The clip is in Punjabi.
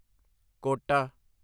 ਕੋਟਾ